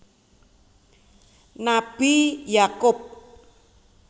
Nabi Yakub